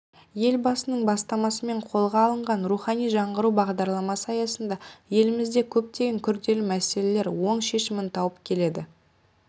елбасының бастамасымен қолға алынған рухани жаңғыру бағдарламасы аясында елімізде көптеген күрделі мәселелер оң шешімін тауып келеді